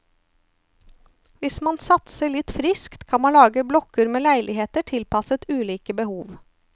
Hvis man satser litt friskt, kan man lage blokker med leiligheter tilpasset ulike behov.